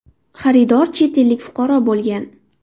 Xaridor chet ellik fuqaro bo‘lgan.